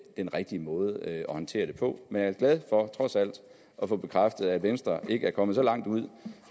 den rigtige måde at håndtere det på men jeg glad for at få bekræftet at venstre ikke er kommet så langt ud